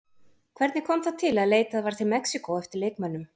Hvernig kom það til að leitað var til Mexíkó eftir leikmönnum?